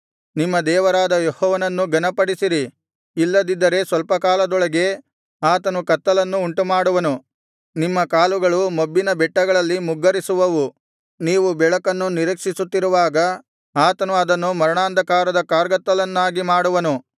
ನಿಮ್ಮ ದೇವರಾದ ಯೆಹೋವನನ್ನು ಘನಪಡಿಸಿರಿ ಇಲ್ಲದಿದ್ದರೆ ಸ್ವಲ್ಪ ಕಾಲದೊಳಗೆ ಆತನು ಕತ್ತಲನ್ನು ಉಂಟುಮಾಡುವನು ನಿಮ್ಮ ಕಾಲುಗಳು ಮೊಬ್ಬಿನ ಬೆಟ್ಟಗಳಲ್ಲಿ ಮುಗ್ಗರಿಸುವವು ನೀವು ಬೆಳಕನ್ನು ನಿರೀಕ್ಷಿಸುತ್ತಿರುವಾಗ ಆತನು ಅದನ್ನು ಮರಣಾಂಧಕಾರದ ಕಾರ್ಗತ್ತಲನ್ನಾಗಿ ಮಾಡುವನು